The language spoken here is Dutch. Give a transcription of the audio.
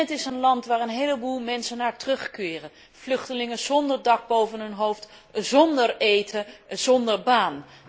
Het is bovendien ook een land waar een heleboel mensen naar terugkeren, vluchtelingen zonder dak boven hun hoofd, zonder eten en zonder baan.